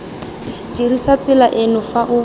dirisa tsela eno fa o